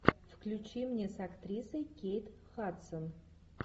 включи мне с актрисой кейт хадсон